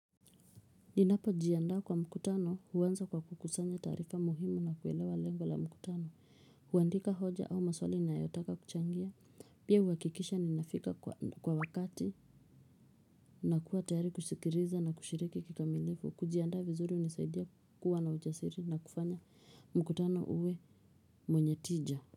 Ninapojiandaa kwa mkutano, huanza kwa kukusanya taarifa muhimu na kuelewa lengo la mkutano. Huandika hoja au maswali ninayotaka kuchangia. Pia huhakikisha nafika kwa wakati na kuwa tayari kusikiliza na kushiriki kikamilifu. Kujiandaa vizuri hunisaidia kuwa na ujasiri na kufanya mkutano uwe wenye tija.